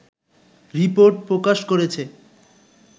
report প্রকাশ করেছে